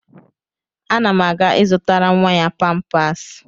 Ana m aga ịzụtara nwa ya pampers.